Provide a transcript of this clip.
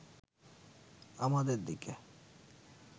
আমাদের দিকে